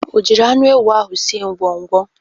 O jiri anụ ewu ahụ sie ngwọngwọ?